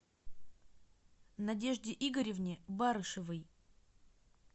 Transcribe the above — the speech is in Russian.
надежде игоревне барышевой